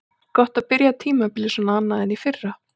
Gott að byrja tímabilið svona annað en í fyrra.